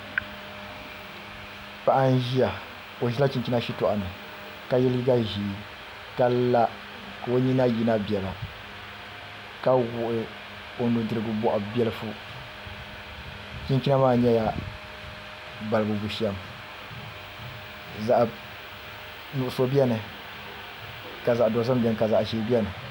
Paɣa n ʒiya o ʒila chinchina shitoɣu ni ka yɛ liiga ʒiɛ ka la ka o nyina yina biɛla ka wuhi o nudirigu boɣu biɛlifu chinchina maa nyɛla balibu bushɛm zaɣ nuɣso biɛni ka zaɣ dozim biɛni ka zaɣ ʒiɛ biɛni